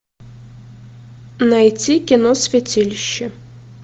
найти кино святилище